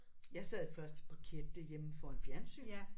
Jeg sad i første parket derhjemme foran fjernsynet